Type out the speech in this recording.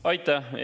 Aitäh!